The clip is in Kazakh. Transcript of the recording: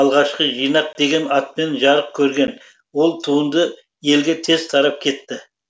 алғашқы жинақ деген атпен жарық көрген ол туынды елге тез тарап кетті